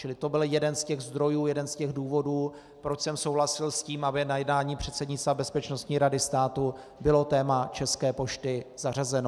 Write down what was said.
Čili to byl jeden z těch zdrojů, jeden z těch důvodů, proč jsem souhlasil s tím, aby na jednání předsednictva Bezpečnostní rady státu bylo téma České pošty zařazeno.